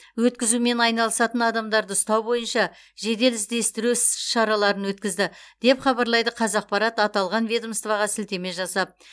өткізумен айналысатын адамдарды ұстау бойынша жедел іздестіру іс шараларын өткізді деп хабарлайды қазақпарат аталған ведомствоға сілтеме жасап